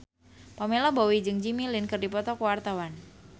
Pamela Bowie jeung Jimmy Lin keur dipoto ku wartawan